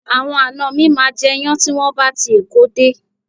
Àwọn ana mi máa jẹ iyán tí wọn bá ti Èkó dé